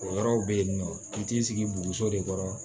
O yɔrɔw be yen nɔ i t'i sigi boso de kɔrɔ